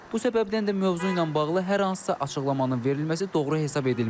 Bu səbəbdən də mövzu ilə bağlı hər hansısa açıqlamanın verilməsi doğru hesab edilmir.